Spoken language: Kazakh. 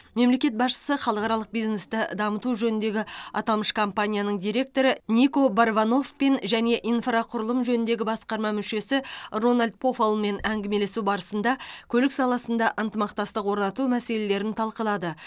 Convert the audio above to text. мемлекет басшысы халықаралық бизнесті дамыту жөніндегі аталмыш компанияның директоры нико варбаноффпен және инфрақұрылым жөніндегі басқарма мүшесі рональд пофаллмен әңгімелесу барысында көлік саласында ынтымақтастық орнату мәселелерін талқылады